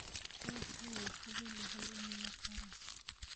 Cawsku way fududahay in la koro.